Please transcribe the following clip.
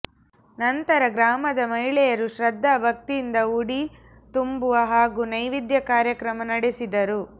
ನಂತರ ಗ್ರಾಮದ ಮಹಿಳೆಯರು ಶ್ರಧ್ದಾ ಭಕ್ತಿಯಿಂದ ಉಡಿ ತುಂಬುವ ಹಾಗೂ ನೈವೇದ್ಯ ಕಾರ್ಯಕ್ರಮ ನಡೆಸಿದರು